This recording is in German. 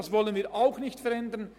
Auch das wollen wir nicht verändern.